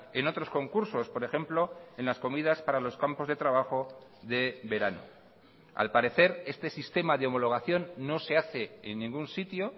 en otros concursos por ejemplo en las comidas para los campos de trabajo de verano al parecer este sistema de homologación no se hace en ningún sitio